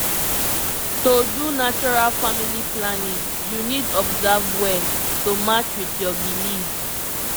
to do natural family planning you need observe well to match with your belief